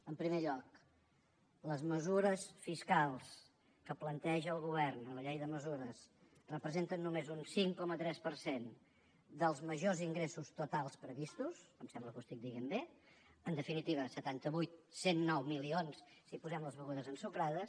en primer lloc les mesures fiscals que planteja el govern a la llei de mesures representen només un cinc coma tres per cent dels majors ingressos totals previstos em sembla que ho estic dient bé en definitiva setanta vuit cent i nou milions si hi posem les begudes ensucrades